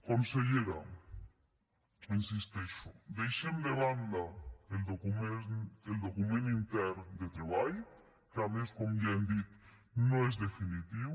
consellera hi insisteixo deixem de banda el document intern de treball que a més com ja hem dit no és definitiu